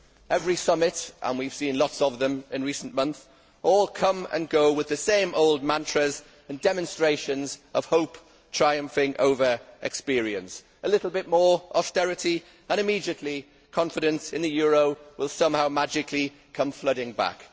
Every summit and we have seen lots of them in recent months comes and goes with the same old mantras and demonstrations of hope triumphing over experience. A little bit more austerity and immediately confidence in the euro will somehow magically come flooding back.